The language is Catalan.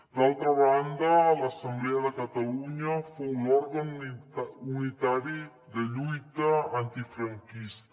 d’altra banda l’assemblea de catalunya fou l’òrgan unitari de lluita antifranquista